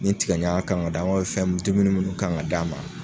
Ni tigaɲaga kan ŋa d'a fɛn m dumuni minnu kan ŋa d'a ma